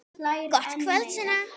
Gott kvöld, Sunna.